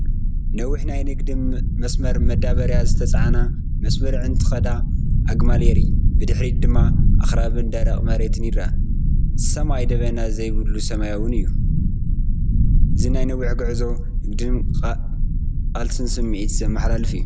ነዊሕ ናይ ንግዲ መስመር መዳበርያ ዝተጻዕና ብመስመር እንትኸዳ ኣግማል የርኢ። ብድሕሪት ድማ ኣኽራንን ደረቕ መሬትን ይርአ። ሰማይ ደበና ዘይብሉን ሰማያውን እዩ። እዚ ናይ ነዊሕ ጉዕዞን ንግድን ቃልስን ስምዒት ዘመሓላልፍ እዩ።